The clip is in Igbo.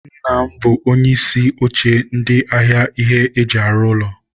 Nna m bụ onye isi oche ndi ahịa ihe e ji arụ ụlọ.